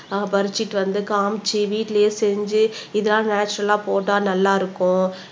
ஆஹ் பறிச்சுட்டு வந்து காமிச்சு வீட்டுலயே செஞ்சு இதெல்லாம் நேச்சரல்லா போட்டா நல்லா இருக்கும்